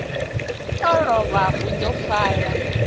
u luvha ho ḓo pfala